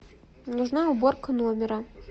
нужна уборка номера